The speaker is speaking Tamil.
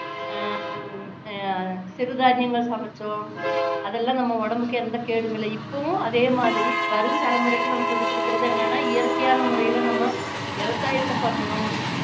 ஹம் அஹ் சிறுதானியங்கள் சமைச்சோம் அதெல்லாம் நம்ம உடம்புக்கு எந்த கேடும் இல்லை இப்போவும் அதே மாதிரி வரும் தலைமுறைக்கு நம்ம சொல்லிக் குடுக்குறது என்னன்னா இயற்கையான முறையில நம்ம விவசாயத்தை பண்ணணும்